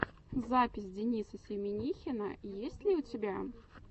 запись дениса семинихина есть ли у тебя